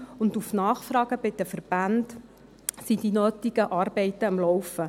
Auf Nachfrage bei den Verbänden sind die nötigen Arbeiten am Laufen.